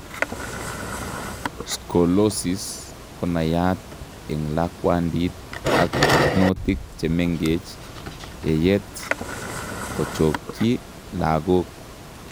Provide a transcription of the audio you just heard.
Scolosis konaiyat eng lakwandit ak barnotik chemengech yeyet kochokyii lagok